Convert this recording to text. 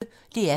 DR P1